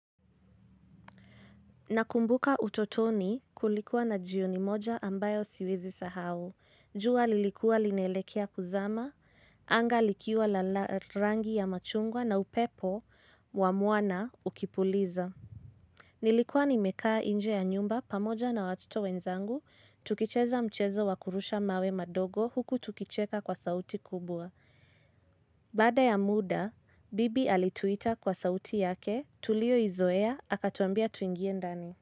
Nakumbuka utotoni kulikuwa na jioni moja ambayo siwezi sahau jua lilikua linaelekea kuzama anga likiwa la rangi ya machungwa na upepo wa mwana ukipuliza Nilikuwa nimekaa nje ya nyumba pamoja na watoto wenzangu tukicheza mchezo wa kurusha mawe madogo huku tukicheka kwa sauti kubwa Baada ya muda bibi alituita kwa sauti yake tuliyoizoea akatuambia tuingie ndani.